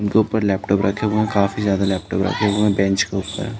उनके ऊपर लेपटोप रखे हुए हैं। काफी ज्यादा लेपटोप रखे हुए हैं बेंच के ऊपर --